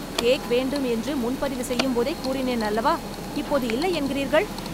cake வேண்டும் என்று முன்பதிவு செய்யும்போதே கூறினேன் அல்லவா இப்போது இல்லை என்கிறீர்கள்